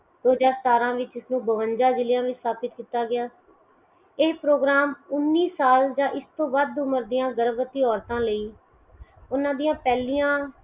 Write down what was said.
ਦੋ ਹਜਾਰ ਸਤਾਰਾ ਵਿੱਚ ਇਸ ਨੂੰ ਬਵੰਜਾ ਜਿਲਿਆਂ ਵ੍ਹਿਚ ਸਥਾਪਿਤ ਕੀਤਾ ਗਿਆ। ਇਹ program ਉਨੀ ਸਾਲ ਜਾ ਇਸ ਤੋਂ ਵੱਧ ਉਮਰ ਦੀਆਂ ਗਰਭਵਤੀ ਔਰਤਾਂ ਲਈ ਓਹਨਾਂ ਦੀਆ ਪਹਿਲੀਆਂ